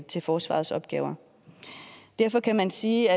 til forsvarets opgaver derfor kan man sige